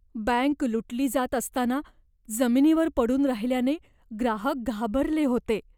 Bank लुटली जात असताना जमिनीवर पडून राहिल्याने ग्राहक घाबरले होते.